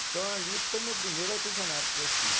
Então ali foi o meu primeiro artesanato que eu fiz.